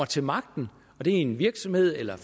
til magten i en virksomhed eller